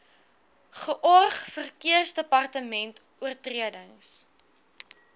george verkeersdepartement oortredings